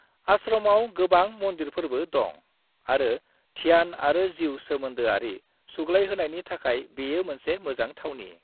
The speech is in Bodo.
आश्रमाव गोबां मन्दिरफोरबो दं आरो ध्यान आरो जिउ सोमोन्दोआरि सुग्लायहोनायनि थाखाय बेयो मोनसे मोजां थावनि।